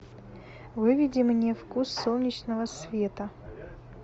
выведи мне вкус солнечного света